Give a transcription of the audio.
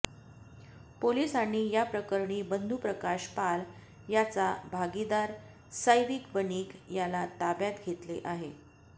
पोलिसांनी याप्रकरणी बंधुप्रकाश पाल याचा भागीदार सौविक बनिक याला ताब्यात घेतले आहे